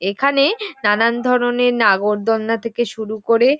এখানে নানান ধরনের নাগরদোলনা থেকে শুরু করে।